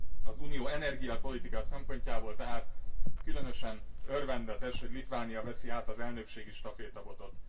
Az uniós energiapolitika szempontjából különösen örvendetes, hogy Litvánia veszi át az elnökségi stafétabotot.